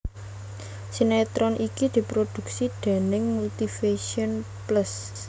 Sinetron iki diproduksi déning Multivision Plus